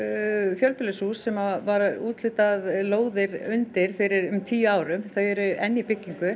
fjölbýlishús sem var úthlutað lóðir undir fyrir um tíu árum þau eru enn í byggingu